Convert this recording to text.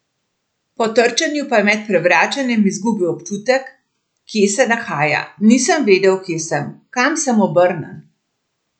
Po trčenju pa je med prevračanjem izgubil občutek, kje se nahaja: "Nisem vedel, kje sem, kam sem obrnjen.